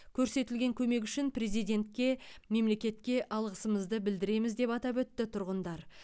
көрсетілген көмек үшін президентке мемлекетке алғысымызды білдіреміз деп атап өтті тұрғындар